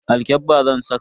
Alkyabba zan saka.